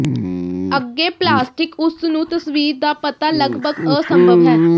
ਅੱਗੇ ਪਲਾਸਟਿਕ ਉਸ ਨੂੰ ਤਸਵੀਰ ਦਾ ਪਤਾ ਲਗਭਗ ਅਸੰਭਵ ਹੈ